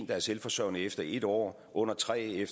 der er selvforsørgende efter en år under tre